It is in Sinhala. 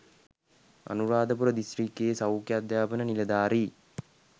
අනුරාධපුර දිස්ත්‍රික්කයේ සෞඛ්‍ය අධ්‍යාපන නිලධාරි